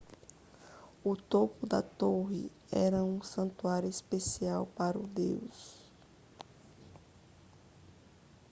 o topo da torre era um santuário especial para o deus